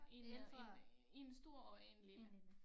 1 1 1 stor og 1 lille